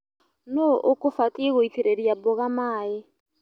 Nũu ũkũbatie gũitĩrĩria mboga maĩ.